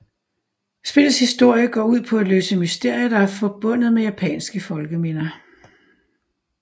Spillets historie går ud på at løse mysterier der er forbundet med japanske folkeminder